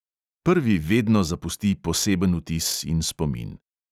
Prvi vedno zapusti poseben vtis in spomin.